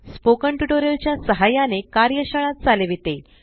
spoken tutorial च्या सहाय्याने कार्यशाळा चालविते